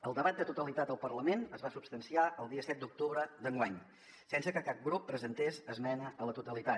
el debat de totalitat al parlament es va substanciar el dia set d’octubre d’enguany sense que cap grup presentés esmena a la totalitat